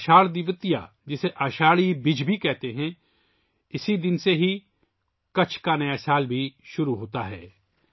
اساڑھ دویتیہ، جسے اساڑھی بج بھی کہا جاتا ہے، اس دن سے ہی کچھ کا نیا سال بھی شروع ہوتا ہے